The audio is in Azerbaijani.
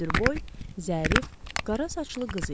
Hündürboy, zərif, qara saçlı qız idi.